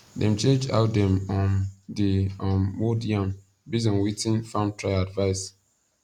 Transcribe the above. dem change how dem um dey um mould yam base on wetin farm trial advice